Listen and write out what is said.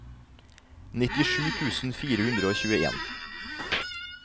nittisju tusen fire hundre og tjueen